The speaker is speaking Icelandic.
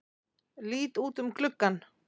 Lít út um gluggann.